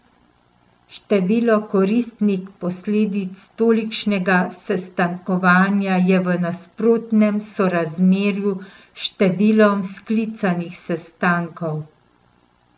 Število koristnih posledic tolikšnega sestankovanja je v nasprotnem sorazmerju s številom sklicanih sestankov!